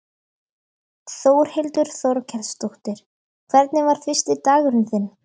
Þórhildur Þorkelsdóttir: Hvernig var fyrsti dagurinn þinn?